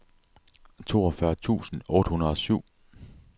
toogfyrre tusind otte hundrede og syv